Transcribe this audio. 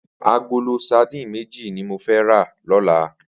Agóló sàdín méji ni mó fè rà lòlá